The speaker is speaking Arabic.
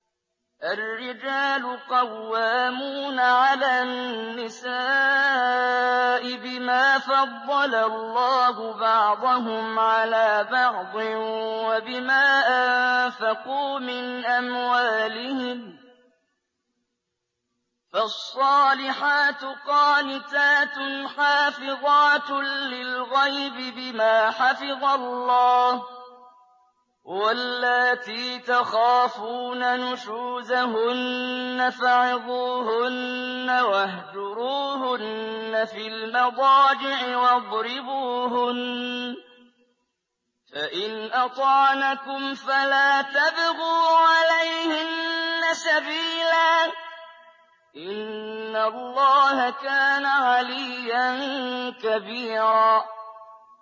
الرِّجَالُ قَوَّامُونَ عَلَى النِّسَاءِ بِمَا فَضَّلَ اللَّهُ بَعْضَهُمْ عَلَىٰ بَعْضٍ وَبِمَا أَنفَقُوا مِنْ أَمْوَالِهِمْ ۚ فَالصَّالِحَاتُ قَانِتَاتٌ حَافِظَاتٌ لِّلْغَيْبِ بِمَا حَفِظَ اللَّهُ ۚ وَاللَّاتِي تَخَافُونَ نُشُوزَهُنَّ فَعِظُوهُنَّ وَاهْجُرُوهُنَّ فِي الْمَضَاجِعِ وَاضْرِبُوهُنَّ ۖ فَإِنْ أَطَعْنَكُمْ فَلَا تَبْغُوا عَلَيْهِنَّ سَبِيلًا ۗ إِنَّ اللَّهَ كَانَ عَلِيًّا كَبِيرًا